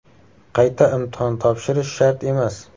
Qayta imtihon topshirish shart emas.